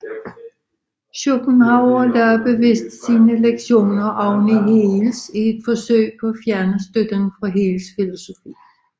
Schopenhauer lagde bevidst sine egne lektioner oveni Hegels i et forsøg på at fjerne støtten fra Hegels filosofi